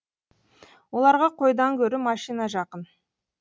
оларға қойдан гөрі машина жақын